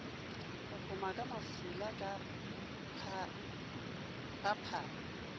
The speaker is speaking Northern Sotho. phophoma ka mafula ba phara